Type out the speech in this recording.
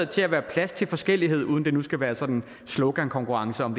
til at være plads til forskellighed uden at det nu skal være sådan en slogankonkurrence om